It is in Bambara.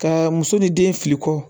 Ka muso ni den fili kɔ